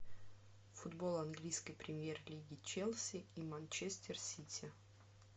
футбол английской премьер лиги челси и манчестер сити